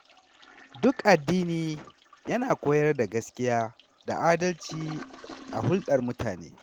Duk addini yana koyar da gaskiya da adalci a hulɗar mutane.